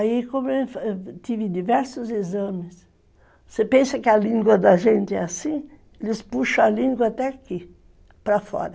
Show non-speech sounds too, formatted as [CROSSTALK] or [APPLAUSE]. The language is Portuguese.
Aí, [UNINTELLIGIBLE] como eu tive diversos exames, você pensa que a língua da gente é assim, eles puxam a língua até aqui, para fora.